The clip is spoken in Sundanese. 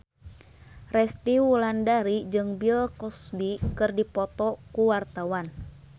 Resty Wulandari jeung Bill Cosby keur dipoto ku wartawan